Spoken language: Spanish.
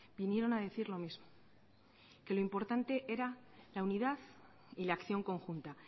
vinieron a decir lo mismo que lo importante era la unidad y la acción conjunta